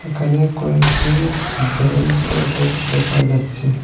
এখানে কয়েকটি ব্রেঞ্চ ও ডেক্স দেখা যাচ্ছে।